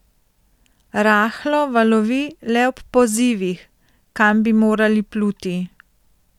Rahlo valovi le ob pozivih, kam bi morali pluti.